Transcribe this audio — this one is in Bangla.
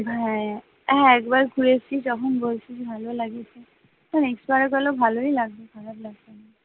হ্যাঁ, একবার ঘুরে এসেছিস তখন বলছিলি ভালো লেগেছে না না করলে ভালোই লাগবে, খারাপ লাগবে না